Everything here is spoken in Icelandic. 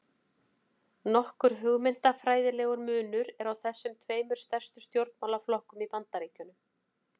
Nokkur hugmyndafræðilegur munur er á þessum tveimur stærstu stjórnmálaflokkum í Bandaríkjunum.